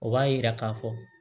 O b'a yira k'a fɔ